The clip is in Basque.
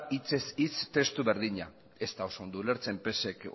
hitzez hitz testu berdina ez da oso ondo ulertzen pse k